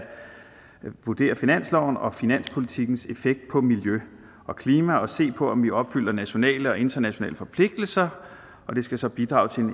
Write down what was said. vurdere finansloven og finanspolitikkens effekt på miljø og klima og se på om vi opfylder nationale og internationale forpligtelser og det skal så bidrage til